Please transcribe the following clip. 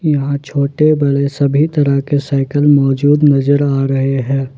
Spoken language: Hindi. यहां छोटे बड़े सभी तरह के साइकल मौजूद नजर आ रहे हैं।